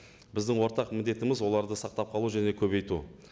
біздің ортақ міндетіміз оларды сақтап қалу және көбейту